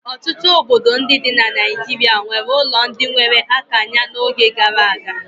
Ọtụtụ obodo ndị dị na Nigeria nwere ụlọ ndị nwere akanya n'oge gara aga.